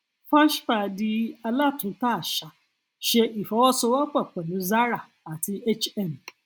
fashpa di alátúntà àṣà ṣe ifowosowopo pẹlú zara àti hm